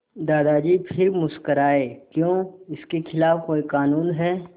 दादाजी फिर मुस्कराए क्यों इसके खिलाफ़ कोई कानून है